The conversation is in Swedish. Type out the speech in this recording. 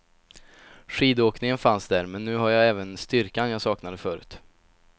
Skidåkningen fanns där, men nu har jag även styrkan jag saknade förut.